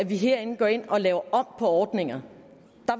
vi herinde går ind og laver om ordninger